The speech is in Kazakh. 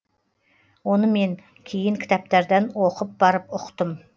оны мен кейін кітаптардан оқып барып ұқтым